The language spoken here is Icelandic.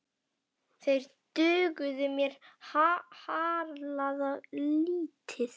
Þeir dugðu mér harla lítið.